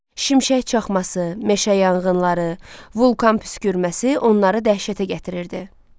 Şimşək çaxması, meşə yanğınları, vulkan püskürməsi onları dəhşətə gətirirdi.